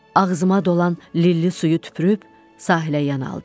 Ağzıma dolan lilli suyu tüpürüb sahilə yan aldım.